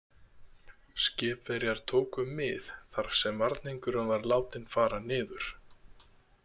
Skipverjar tóku mið þar sem varningurinn var látinn fara niður.